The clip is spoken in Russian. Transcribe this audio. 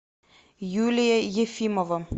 юлия ефимова